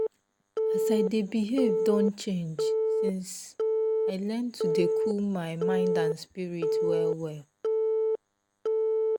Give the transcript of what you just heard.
as i dey behave don change since i learn to dey cool my mind and spirit well well.